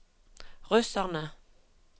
russerne